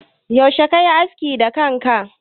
Yaushe kayi askin da ke kanka?